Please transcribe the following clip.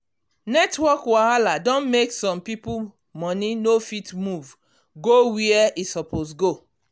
network wahala don make some people money no fit move go where e suppose go.